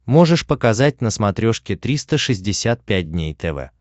можешь показать на смотрешке триста шестьдесят пять дней тв